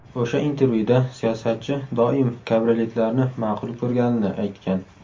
O‘sha intervyuda siyosatchi doim kabrioletlarni ma’qul ko‘rganini aytgan.